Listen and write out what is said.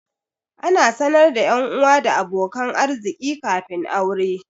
Ana sanar da 'yanuwa da abokan arziƙi kafin aure.